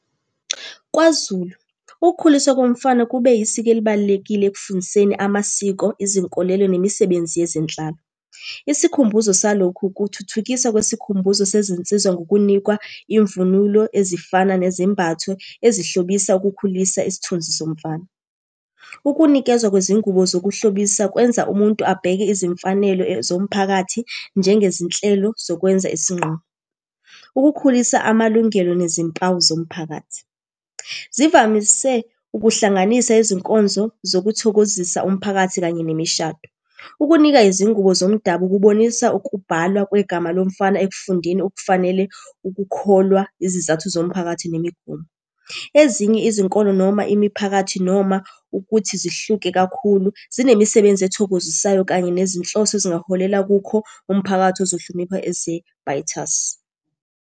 KwaZulu, ukukhuliswa komfana kube yisiko elibalulekile ekufundiseni amasiko, izinkolelo, nemisebenzi yezenhlalo. Isikhumbuzo salokhu, kuthuthukisa kwesikhumbuzo sezinsiza ngokunikwa imvunulo ezifana nezembathwe ezihlobisa ukukhulisa isithunzi somfana. Ukunikezwa kwezingubo zokuhlobisa kwenza umuntu abheke izimfanelo zomphakathi, njengezinhlelo zokwenza isingqumo. Ukukhulisa amalungelo nezimpawu zomphakathi, zivamise ukuhlanganisa izinkonzo zokuthokozisa umphakathi kanye nemishado. Ukunika izingubo zomdabu kubonisa ukubhalwa kwegama lomfana ekufundeni okufanele ukukholwa izizathu zomphakathi nemigomo. Ezinye izinkolo noma imiphakathi noma ukuthi zihluke kakhulu, zinemisebenzi ethokozisayo kanye nezinhloso ezingaholela kukho, umphakathi ozohlonipha ezebhayithasi.